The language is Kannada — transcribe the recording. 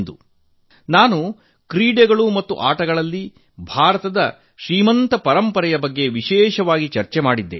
ನಾನು ವಿಶೇಷವಾಗಿ ಕ್ರೀಡಾ ಮತ್ತು ಆಟಗಳಲ್ಲಿ ಭಾರತದ ಶ್ರೀಮಂತ ಪರಂಪರೆಯ ಬಗ್ಗೆ ಚರ್ಚೆ ಮಾಡಿದ್ದೆ